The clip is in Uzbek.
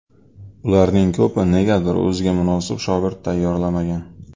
Ularning ko‘pi negadir o‘ziga munosib shogird tayyorlamagan.